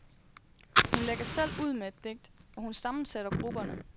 Hun lægger selv ud med et digt, og hun sammensætter grupperne.